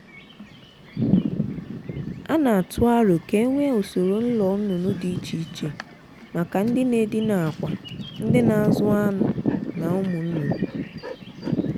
a na-atụ aro ka e nwee usoro ụlọ nnụnụ dị iche iche maka ndị na-edina akwa ndị na-azụ anụ na ụmụ nnụnụ.